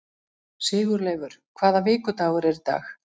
Sigurleifur, hvaða vikudagur er í dag?